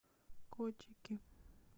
котики